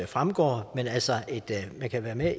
fremgår altså at man kan være med